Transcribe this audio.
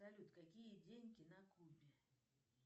салют какие деньги на кубе